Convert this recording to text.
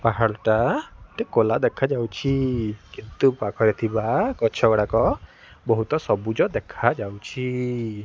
ପାହାଡ଼ଟା ଟେ କଲା ଦେଖାଯାଉଛି କିନ୍ତୁ ପାଖରେ ଥିବା ଗଛ ଗଡ଼ାକ ବୋହୁତ ସବୁଜ ଦେଖାଯାଉଛି।